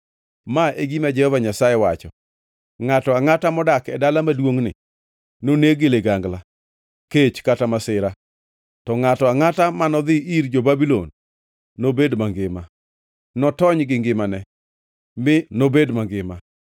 “Ma e gima Jehova Nyasaye wacho: ‘Ngʼato angʼata modak e dala maduongʼni noneg gi ligangla, kech kata masira, to ngʼato angʼata manodhi ir jo-Babulon nobed mangima. Notony gi ngimane; mi nobed mangima.’